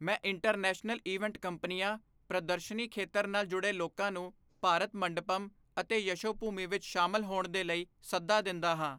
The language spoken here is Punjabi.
ਮੈਂ ਇੰਟਰਨੈਸ਼ਨਲ ਇਵੈਂਟ ਕੰਪਨੀਆਂ, ਪ੍ਰਦਰਸ਼ਨੀ ਖੇਤਰ ਨਾਲ ਜੁੜੇ ਲੋਕਾਂ ਨੂੰ ਭਾਰਤ ਮੰਡਪਮ ਅਤੇ ਯਸ਼ੋਭੂਮੀ ਵਿੱਚ ਸ਼ਾਮਲ ਹੋਣ ਦੇ ਲਈ ਸੱਦਾ ਦਿੰਦਾ ਹਾਂ।